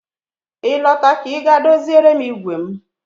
Ị lọta ka Ị gaa doziere m igwe m